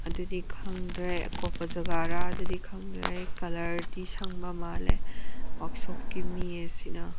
ꯑꯗꯨꯗꯤ ꯈꯪꯗ꯭ꯔꯦ ꯑꯀꯣꯞꯄ ꯖꯥꯒꯥꯔ ꯑꯗꯨꯗꯤ ꯈꯪꯗ꯭ꯔꯦ ꯀꯜꯂ꯭ꯔ ꯗꯤ ꯁꯪꯕ ꯃꯥꯜꯂꯦ ꯋ꯭ꯔꯛ ꯁꯣꯞꯄ ꯀꯤ ꯃꯤ ꯑꯥꯁꯤꯅ꯫